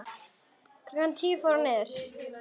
Klukkan tíu fór hann niður.